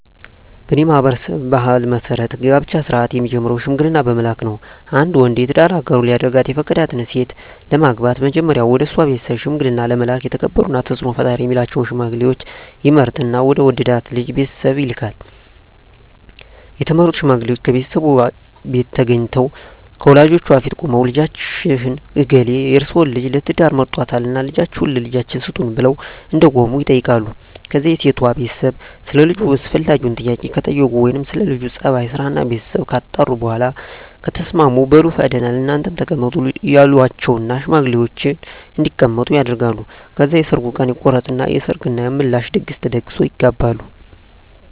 በኔ ማህበረሰብ ባህል መሰረት የጋብቻ ስነ-ስርአት የሚጀምረው ሽምግልና በመላክ ነው። አንድ ወንድ የትዳር አጋሩ ሊያደርጋት የፈቀዳትን ሴት ለማግባት መጀመሪያ ወደሷ ቤተሰብ ሽምግልና ለመላክ የተከበሩና ተጽኖ ፈጣሪ ሚላቸውን ሽማግሌወች ይመርጥና ወደ ወደዳት ልጅ ቤተሰብ ይልካል፣ የተመረጡት ሽማግሌወችም ከሴቷቤት ተገንተው ከወላጆቿ ፊት ቁመው ልጃችን እገሌ የርሰወን ልጅ ለትዳር መርጧልና ልጃችሁን ለልጃችን ስጡን ብለው እንደቆሙ ይጠይቃሉ ከዛ የሴቷ ቤተሰብ ሰለ ልጁ አስፈላጊውን ጥያቄ ከጠየቁ ወይም ስለ ለጁ ጸባይ፣ ስራና ቤተሰቡ ካጣሩ በኋላ ከተስማሙ በሉ ፈቅደናል እናንተም ተቀመጡ ይሏቸውና ሽማግሌወችን እንዲቀመጡ ያደርጋሉ። ከዛ የሰርጉ ቀን ይቆረጥና የሰርግ እና የምላሽ ድግስ ተደግሶ ይጋባሉ።